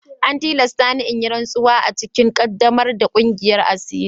An tilasta ni in yi rantsuwa a cikin ƙaddamar da ƙungiyar asiri.